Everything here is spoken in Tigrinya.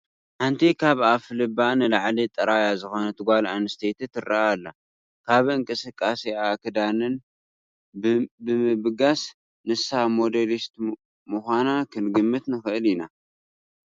ሓንቲ ካብ ኣፍ ልባ ንላዕሊ ጥራያ ዝኾነት ጓል ኣነስተይቲ ትርአ ኣላ፡፡ ካብ እንቅስቃሴኣን ክዳናንን ብምብጋስ ንሳ ሞዴሊስት ምዃና ክንግምት ንኽእል ኢና፡፡